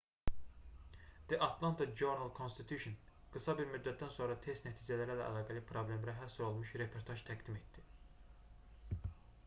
the atlanta journal-constitution qısa bir müddətdən sonra test nəticələri ilə əlaqəli problemlərə həsr olunmuş reportaj təqdim etdi